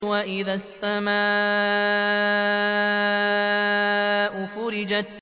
وَإِذَا السَّمَاءُ فُرِجَتْ